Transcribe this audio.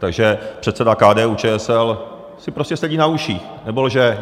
Takže předseda KDU-ČSL si prostě sedí a uších, nebo lže.